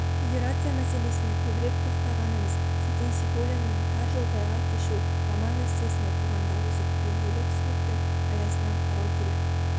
федерация мәселесіне көбірек тоқтағанымыз сәкен сейфуллиннің тар жол тайғақ кешу роман-эссесін оқығанда осы түбегейлі түсініктің аясынан қарау керек